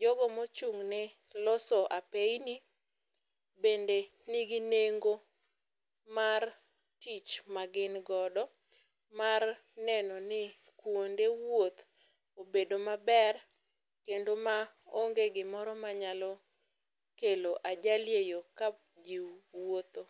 Jogo mochung' ne loso apeini bende nigi nengo mar tich ma gin go mar neno ni kuonde wuoth obedo maber kendo maonge gimoro manyalo kelo ajali e yoo ka jii wuotho.